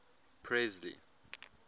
presley